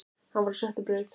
Hann var á sjöttu braut